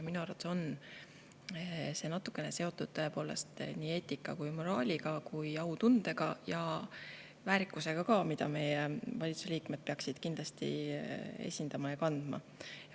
Minu arvates on see tõepoolest natukene seotud nii eetika, moraali kui ka autunde ja väärikusega, mida meie valitsuse liikmed peaksid kindlasti esindama ja kandma.